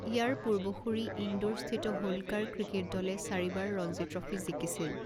ইয়াৰ পূৰ্বসূৰী, ইন্দোৰ স্থিত হোলকাৰ ক্ৰিকেট দলে চাৰিবাৰ ৰঞ্জী ট্ৰফী জিকিছিল।